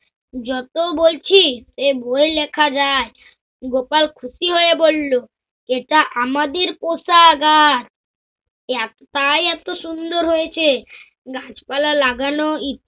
যত বলছি এই বই লেখা যায়, গোপাল খুশি হয়ে বলল, এটা আমাদের পোষা গাছ। এত তাই এত সুন্দর হয়েছে। গাছপালা লাগানো